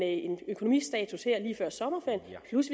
en økonomistatus her lige før sommerferien plus